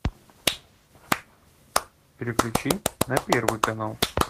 переключи на первый канал